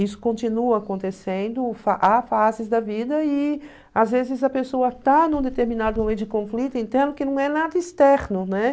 Isso continua acontecendo, há fases da vida e às vezes a pessoa está num determinado momento de conflito então que não é nada externo, né?